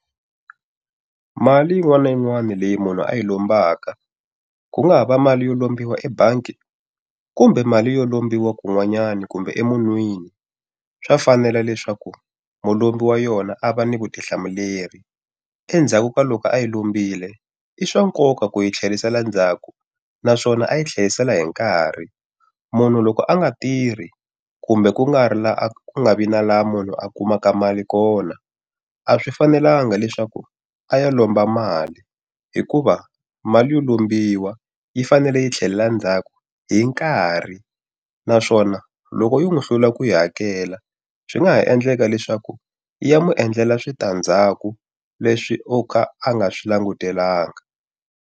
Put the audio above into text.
Mali yin'wana na yin'wana leyi munhu a hi lombaka, ku nga ha va mali yo lombiwa ebangi kumbe mali yo lombiwa kun'wanyana kumbe emunhwini, swa fanela leswaku mulombi wa yona a va ni vutihlamuleri. Endzhaku ka loko a yi lombile, i swa nkoka ku yi tlherisela ndzhaku naswona a yi tlherisela hi nkarhi. Munhu loko a nga tirhi kumbe ku nga ri ku nga vi na laha munhu a kumaka mali kona, a swi fanelanga leswaku a ya lomba mali. Hikuva mali yo lombiwa yi fanele yi tlhela ndzhaku hi nkarhi. Naswona loko yo n'wi hlula ku yi hakela swi nga ha endleka leswaku ya n'wi endlela switandzhaku leswi o ka a nga swi langutelanga.